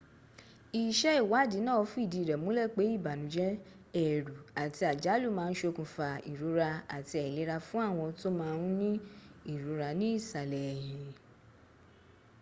iṣẹ́ ìwádìí náà fìdí rẹ̀ múlẹ̀ pé ìbànújẹ́ ẹ̀rù àti àjálù má a ń ṣokùnfà ìrora àti àìlera fún àwọn tó má a ń ní ìrora ní ìsàlẹ̀ ẹ̀hìn